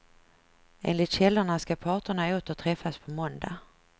Enligt källorna skall parterna åter träffas på måndag.